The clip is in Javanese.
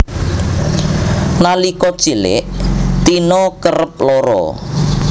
Nalika cilik Tina kerep lara